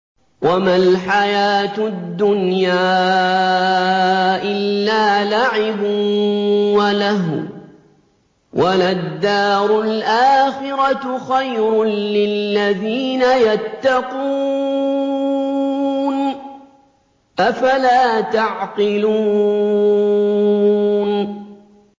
وَمَا الْحَيَاةُ الدُّنْيَا إِلَّا لَعِبٌ وَلَهْوٌ ۖ وَلَلدَّارُ الْآخِرَةُ خَيْرٌ لِّلَّذِينَ يَتَّقُونَ ۗ أَفَلَا تَعْقِلُونَ